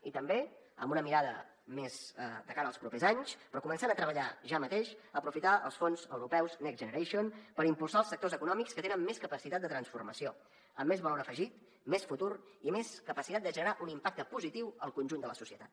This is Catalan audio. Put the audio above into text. i també amb una mirada més de cara als propers anys però començant a treballar ja mateix aprofitar els fons europeus next generation per impulsar els sectors econòmics que tenen més capacitat de transformació amb més valor afegit més futur i més capacitat de generar un impacte positiu al conjunt de la societat